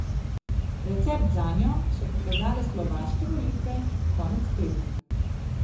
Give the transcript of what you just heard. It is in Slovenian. Recept zanjo so pokazale slovaške volitve konec tedna.